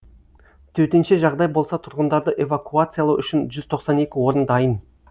төтенше жағдай болса тұрғындарды эвакуациялау үшін жүз тоқсан екі орын дайын